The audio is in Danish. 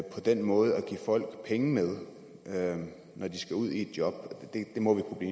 på den måde at give folk penge med når de skal ud i et job det må vi kunne